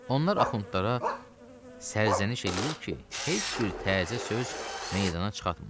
Onlar axundlara sərzəniş eləyir ki, heç bir təzə söz meydana çıxartmırlar.